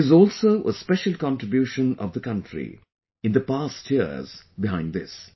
There is also a special contribution of the country in the past years behind this